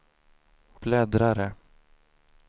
bläddrare